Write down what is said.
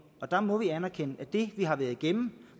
der må vi anerkende at det vi har været igennem